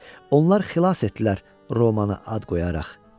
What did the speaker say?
Onlar xilas etdilər Romanı ad qoyaraq.